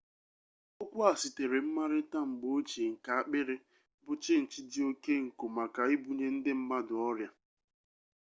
okwu a sitere mmarita mgbe-ochie nke akpiri bu chinchi di oke nko maka ibunye ndi mmadu oria